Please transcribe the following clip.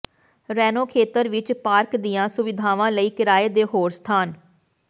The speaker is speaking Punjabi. ਰੇਨੋ ਖੇਤਰ ਵਿੱਚ ਪਾਰਕ ਦੀਆਂ ਸੁਵਿਧਾਵਾਂ ਲਈ ਕਿਰਾਏ ਦੇ ਹੋਰ ਸਥਾਨ